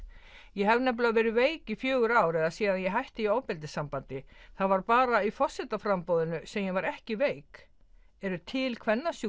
ég hef nefnilega verið veik í fjögur ár eða síðan ég hætti í ofbeldissambandi það var bara í sem ég var ekki veik eru til